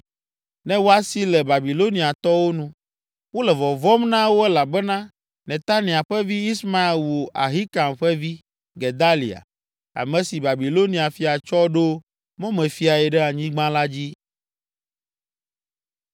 ne woasi le Babiloniatɔwo nu. Wole vɔvɔ̃m na wo elabena Netania ƒe vi, Ismael wu Ahikam ƒe vi, Gedalia, ame si Babilonia fia tsɔ ɖo mɔmefiae ɖe anyigba la dzi.